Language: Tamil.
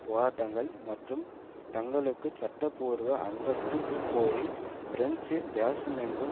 போராட்டங்கள் மற்றும் தங்களுக்கு சட்டபூர்வ அந்தஸ்து கோரி பிரான்சு தேசமெங்கும்